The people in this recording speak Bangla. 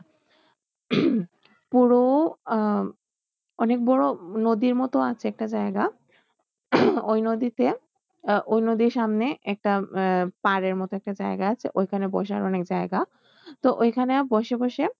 পুরো আহ অনেক বড়ো নদীর মতো আছে একটা জায়গা ওই নদীতে আহ ওই নদীর সামনে একটা আহ পাড়ের মতো একটা জায়গা আছে ওইখানে বসার অনেক জায়গা তো ওইখানে বসে বসে